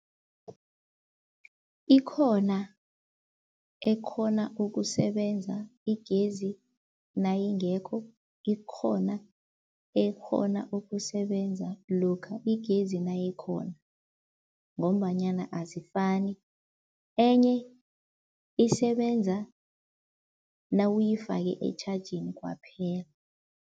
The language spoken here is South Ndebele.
Ikhona ekghona ukusebenza igezi nayingekho, ikhona ekghona ukusebenza lokha igezi nayikhona. Ngombanyana azifani, enye isebenza nawuyifake etjhajeni kwaphela.